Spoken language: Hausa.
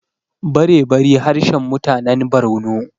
barebari harshen mutanen Borno